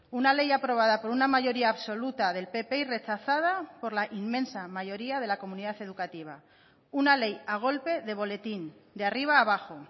una ley aprobada por una mayoría absoluta del pp y rechazada por la inmensa mayoría de la comunidad educativa una ley a golpe de boletín de arriba abajo